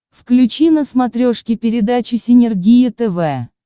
включи на смотрешке передачу синергия тв